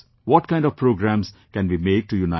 What kind of programmes can we make to unite our country